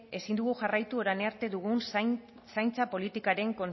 ezin dugu jarraitu orain arte dugun zaintza politikaren